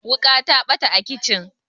wuka ta bata a kicin